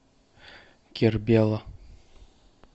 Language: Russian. кербела